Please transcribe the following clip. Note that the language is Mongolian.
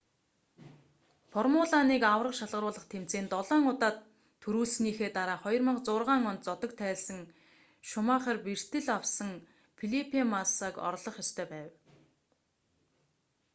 формула 1 аварга шалгаруулах тэмцээнд долоон удаа түрүүлсэнийхээ дараа 2006 онд зодог тайлсан шумахер бэртэл авсан фелипе массаг орлох ёстой байв